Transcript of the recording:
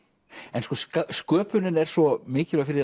en sko sköpunin er svo mikilvæg fyrir